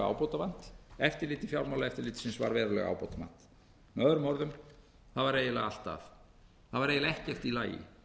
ábótavant eftirlit fjármálaeftirlitsins var verulega ábótavant með öðrum orðum það var eiginlega allt að það var eiginlega ekkert í lagi